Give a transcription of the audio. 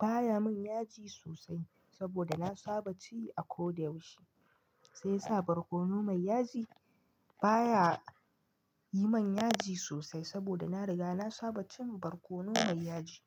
baya min yaji sosai saboda na saba ci a koda yaushe. Sai yasa barkono mai yaji baya yi min yaji sosai saboda na riga na saba cin barkono mai yaji.